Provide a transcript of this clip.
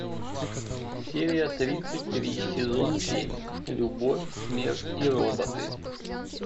серия тридцать три сезон семь любовь смерть и роботы